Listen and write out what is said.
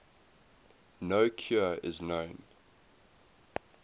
no cure is known